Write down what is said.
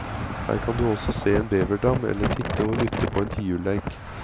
Her kan du også se en beverdam, eller titte og lytte på en tiurleik.